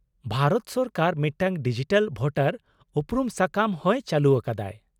-ᱵᱷᱟᱨᱚᱛ ᱥᱚᱨᱠᱟᱨ ᱢᱤᱫᱴᱟᱝ digital voter ᱩᱯᱨᱩᱢ ᱥᱟᱠᱟᱢ ᱦᱚᱸᱭ ᱪᱟᱞᱩ ᱟᱠᱟᱫᱟᱭ ᱾